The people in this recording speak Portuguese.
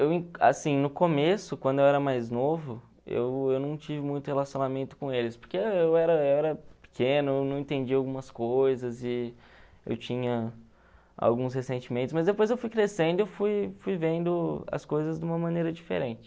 Eu, assim, no começo, quando eu era mais novo, eu eu não tive muito relacionamento com eles, porque eu era eu era pequeno, não entendia algumas coisas e eu tinha alguns ressentimentos, mas depois eu fui crescendo, eu fui fui vendo as coisas de uma maneira diferente.